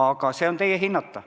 Aga see on teie hinnata.